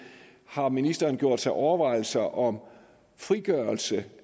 om ministeren har gjort sig overvejelser om frigørelse